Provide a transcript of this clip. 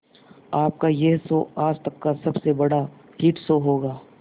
आपका यह शो आज तक का सबसे बड़ा हिट शो होगा